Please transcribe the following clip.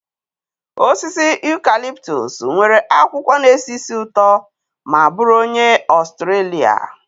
Osisi eucalyptus nwere akwụkwọ na-esi ísì ụtọ ma bụrụ onye Australia.